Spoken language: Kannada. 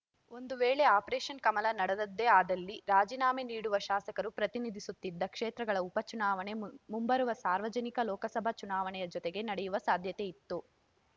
ಒಂದು ವೇಳೆ ಆಪರೇಷನ್‌ ಕಮಲ ನಡೆದದ್ದೇ ಆದಲ್ಲಿ ರಾಜಿನಾಮೆ ನೀಡುವ ಶಾಸಕರು ಪ್ರತಿನಿಧಿಸುತ್ತಿದ್ದ ಕ್ಷೇತ್ರಗಳ ಉಪಚುನಾವಣೆ ಮು ಮುಂಬರುವ ಸಾರ್ವತ್ರಿಕ ಲೋಕಸಭಾ ಚುನಾವಣೆಯ ಜೊತೆಗೆ ನಡೆಯುವ ಸಾಧ್ಯತೆಯಿತ್ತು